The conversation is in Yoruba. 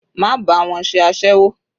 Má bá wọn ṣe aséwó.